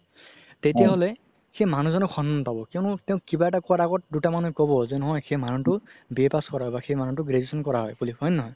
তেতিয়া হ'লে সেই মানুহ জনে সন্মান পাব কিয়্নো তেওঁ কিবা এটা কুৱা আগত দুটামানে ক'ব নহয় যে সেই মানুহতো BA pass বা সেই মানুহতো graduation কৰা হয় বুলি হয় নে নহয়